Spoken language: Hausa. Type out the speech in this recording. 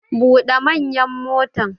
Bude manyan motan!